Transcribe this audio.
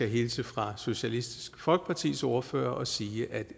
hilse fra socialistisk folkepartis ordfører og sige at